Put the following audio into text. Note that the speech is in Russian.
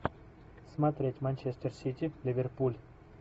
смотреть манчестер сити ливерпуль